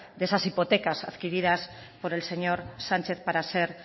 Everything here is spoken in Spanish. de esas hipotecas adquiridas por el señor sánchez para ser